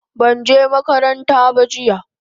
banje makaranta ba jiya